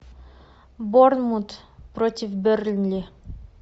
борнмут против бернли